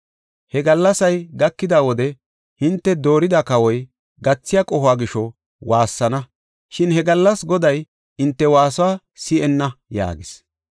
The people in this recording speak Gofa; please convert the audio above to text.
He gallasay gakida wode hinte doorida kawoy gathiya qohuwa gisho waassana; shin he gallas Goday hinte waasuwa si7enna” yaagis.